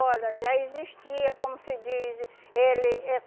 Olha, já existia, como se diz, ele eh